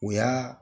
O y'a